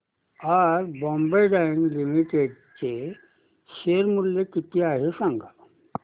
आज Bombay Dyeing Limited चे share मूल्य किती आहे सांगा